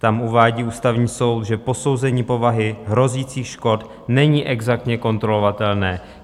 Tam uvádí Ústavní soud, že posouzení povahy hrozících škod není exaktně kontrolovatelné.